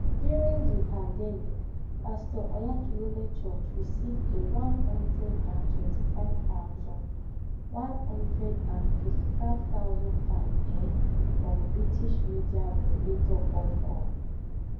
durin di pandemic pastor Oyaklehome church risif a one hundred an twenty fiv tousan one hundred an fifti fiv thousan fin ehm from British midia regulato ofkom